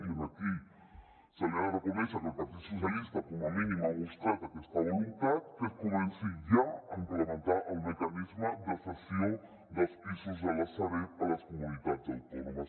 i aquí se li ha de reconèixer que el partit socialistes com a mínim ha mostrat aquesta voluntat que es comenci ja a implementar el mecanisme de cessió dels pisos de la sareb a les comunitats autònomes